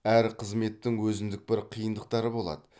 әр қызметтің өзіндік бір қиындықтары болады